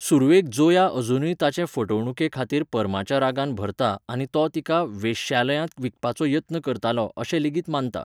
सुरवेक ज़ोया अजूनय ताचे फटवणुके खातीर पर्माच्या रागान भरता आनी तो तिका वेश्यालयांत विकपाचो यत्न करतालो अशें लेगीत मानता.